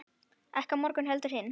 Ekki á morgun heldur hinn.